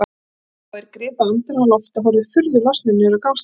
Hann sá að þeir gripu andann á lofti og horfðu furðu lostnir niður á gangstéttina.